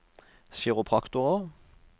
kiropraktorer